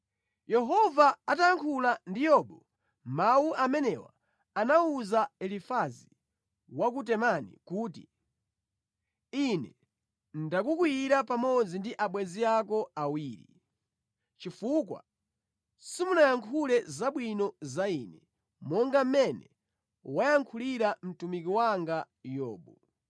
Yehova atayankhula ndi Yobu mawu amenewa anawuza Elifazi wa ku Temani kuti, “Ine ndakukwiyira pamodzi ndi abwenzi ako awiri, chifukwa simunayankhule zabwino za Ine, monga mmene wayankhulira mtumiki wanga Yobu.